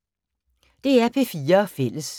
DR P4 Fælles